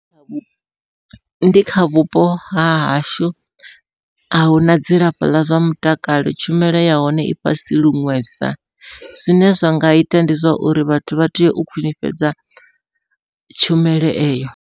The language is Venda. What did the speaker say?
Ndi kha vhupo hahashu ahuna dzilafho ḽa zwa mutakalo, tshumelo yahone i fhasi luṅwesa. Zwine zwa nga ita ndi zwa uri vhathu vha tea u khwiṋifhadza tshumelo eyo.